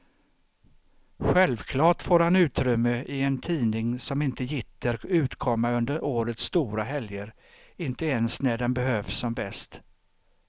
Självklart får han utrymme i en tidning som inte gitter utkomma under årets stora helger, inte ens när den behövs som bäst.